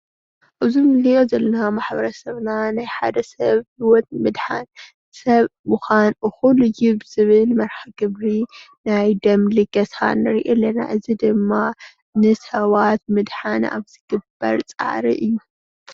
እዚ እንሪኦ ዘለና ማሕበርሰብናን ናይ ሓደ ሰብ ሂወት ንምድሓን ሰብ ምዃን እኹል እዩ ብዝብል መርሀ ግብሪ ናይደም ልገሳ ንሪኢ ኣለና።